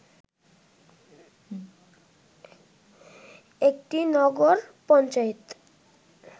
একটি নগর পঞ্চায়েত